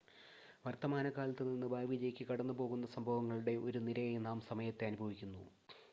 വർത്തമാനകാലത്തു നിന്ന് ഭാവിയിലേക്ക് കടന്നുപോകുന്ന സംഭവങ്ങളുടെ ഒരു നിരയായി നാം സമയത്തെ അനുഭവിക്കുന്നു